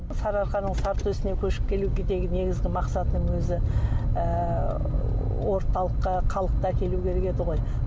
сарыарқаның сары төсіне көшіп келудегі деген негізгі мақсатым өзі ііі орталыққа халықты әкелу керек еді ғой